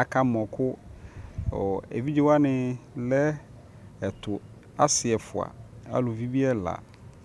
aka mɔ kʋ, ɛvidzɛ wani lɛ ɛtʋ, asii ɛƒʋa alʋvi bi ɛla